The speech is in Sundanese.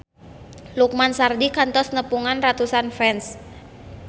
Lukman Sardi kantos nepungan ratusan fans